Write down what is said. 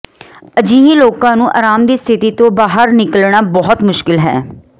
ਅਜਿਹੇ ਲੋਕਾਂ ਨੂੰ ਅਰਾਮ ਦੀ ਸਥਿਤੀ ਤੋਂ ਬਾਹਰ ਨਿਕਲਣਾ ਬਹੁਤ ਮੁਸ਼ਕਲ ਹੈ